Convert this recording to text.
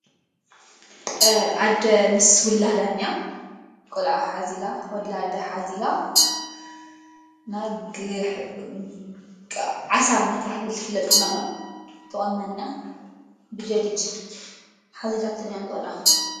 ኣደ ምስ ውላዳኛ ቈልኣ ኃዚላ ውላደ ኃዚላ ና ግሕዓሳ መታህደል ፍለጥኩናኖ ተወናኛ ብጀዲድ ኃዚላትን እያ ዘላ።